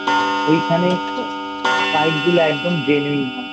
ওইখানে Fight গুলো একদম Genuine হয় I